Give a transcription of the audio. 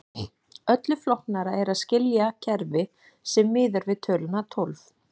Öllu flóknara er að skilja kerfi sem miðar við töluna tólf.